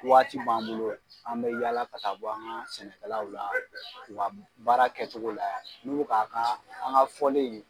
Waati b'an bolo an bɛ yala ka taa bɔ an ka sɛnɛkalalaw la ka baara kɛcogo layɛ n' u bi k'a kɛ an ka fɔlen in ye.